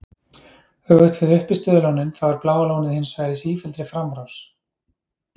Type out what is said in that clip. Öfugt við uppistöðulónin þá er Bláa lónið hins vegar í sífelldri framrás.